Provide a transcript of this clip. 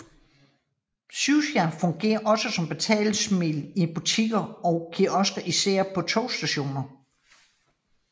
Suica fungerer også som betalingsmiddel i butikker og kiosker især på togstationer